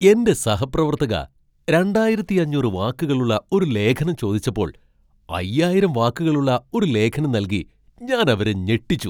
എന്റെ സഹപ്രവർത്തക രണ്ടായിരത്തി അഞ്ഞൂറ് വാക്കുകളുള്ള ഒരു ലേഖനം ചോദിച്ചപ്പോൾ അയ്യായിരം വാക്കുകളുള്ള ഒരു ലേഖനം നൽകി ഞാൻ അവരെ ഞെട്ടിച്ചു.